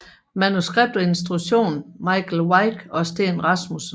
Manuskript og instruktion Michael Wikke og Steen Rasmussen